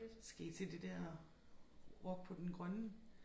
Skal I til det der Rock på Den Grønne